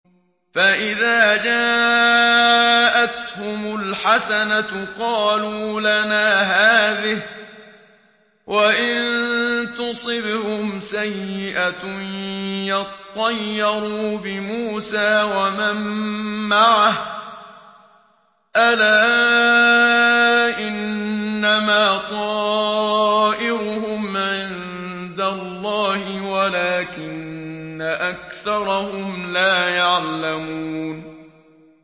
فَإِذَا جَاءَتْهُمُ الْحَسَنَةُ قَالُوا لَنَا هَٰذِهِ ۖ وَإِن تُصِبْهُمْ سَيِّئَةٌ يَطَّيَّرُوا بِمُوسَىٰ وَمَن مَّعَهُ ۗ أَلَا إِنَّمَا طَائِرُهُمْ عِندَ اللَّهِ وَلَٰكِنَّ أَكْثَرَهُمْ لَا يَعْلَمُونَ